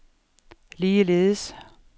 ligeledes